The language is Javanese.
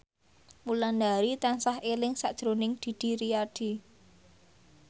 Wulandari tansah eling sakjroning Didi Riyadi